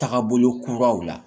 Taga bolo kuraw la